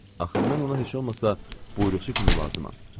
Axı mən ona heç olmasa buyruqçu kimi lazımdam.